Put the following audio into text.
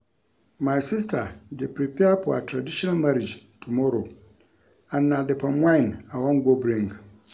My sister dey prepare for her traditional marriage tomorrow and na the palm wine I wan go bring